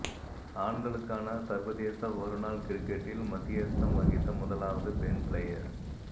ஆண்களுக்கான சர்வதேச ஒருநாள் கிரிக்கெட்டில் மத்தியஸ்தம் வகித்த முதலாவது பெண் க்ளயர்